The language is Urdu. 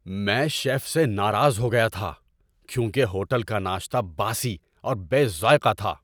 میں شیف سے ناراض ہو گیا تھا کیونکہ ہوٹل کا ناشتہ باسی اور بے ذائقہ تھا۔